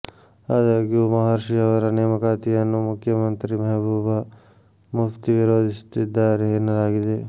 ಆದಾಗ್ಯೂ ಮಹರ್ಷಿ ಅವರ ನೇಮಕಾತಿಯನ್ನು ಮುಖ್ಯಮಂತ್ರಿ ಮೆಹಬೂಬ ಮುಫ್ತಿ ವಿರೋಧಿಸುತ್ತಿದ್ದಾರೆ ಎನ್ನಲಾಗಿದೆ